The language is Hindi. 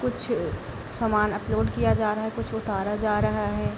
कुछ सामान अपलोड किया जा रहा है कुछ उतारा जा रहा है।